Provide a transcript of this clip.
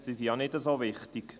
Sie sind ja nicht so wichtig.